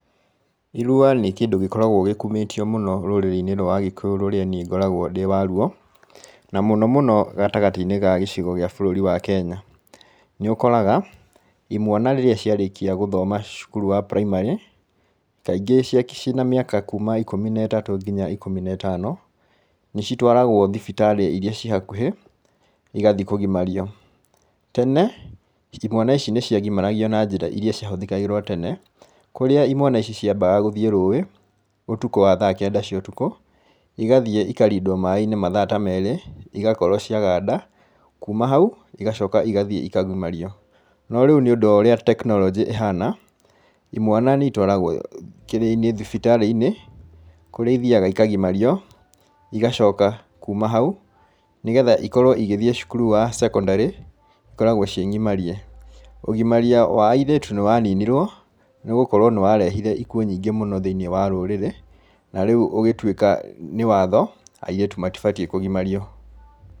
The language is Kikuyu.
Irua nĩ kĩndũ gĩkoragwo gĩkumĩtio mũno rũrĩrĩ-inĩ rwa agĩkũyũ, rũrĩa niĩ ngoragwo ndĩ waruo, na mũno mũno gatagatĩ-inĩ ga gĩcigo gia bũrũri wa Kenya, nĩũkoraga, imwana rĩrĩa ciarĩkia gũthoma cukuru wa primary kaingĩ ciĩ na mĩaka kuuma ikumi na ĩtatũ nginya ikũmi na ĩtano, nĩ citwaragwo thibitarĩ iria ciĩ hakũhĩ, igathiĩ kũgimario. Tene, imwana ici nĩ ciagimaragio na njĩra iria cia hũthagĩrwo tene, kũrĩa imwana ici ciambaga gũthiĩ rũĩ ũtukũ wa thaa kenda cia ũtukũ, igathiĩ ikarindwo maĩ-inĩ mathaa ta merĩ igakorwo cia ganda, kuuma hau igacoka igathiĩ ikagimario. No rĩu nĩ ũndũ wa ũrĩa technology ĩhana, imana nĩ itwaragwo kĩrĩa-inĩ thibitarĩ-inĩ, kũrĩa ithiaga ikagimario, igacoka kuuma hau nĩgetha ikorwo igĩthiĩ cukuru wa secondary ikoragwo ciĩ ng'imarie. Ũgimaria wa airĩtu nĩ wa ninirwo, nĩ gũkorwo nĩ warehire ikuũ nyingĩ mũno thĩiniĩ wa rũrĩrĩ, na rĩu ũgĩtuika nĩ watho, airĩtu matibatiĩ kũgimario.